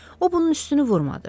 o bunun üstünü vurmadı.